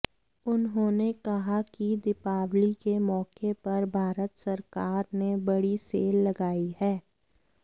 उन्होने कहा कि दीपावली के मौके पर भारत सरकार ने बडी सेल लगाई है